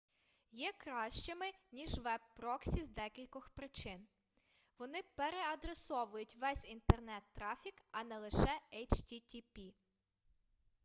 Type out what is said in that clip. є кращими ніж веб-проксі з декількох причин вони переадресовують весь інтернет-трафік а не лише http